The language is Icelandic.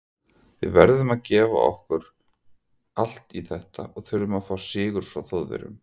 Við verðum að gefa allt okkar í þetta og þurfum að fá sigur frá Þjóðverjum.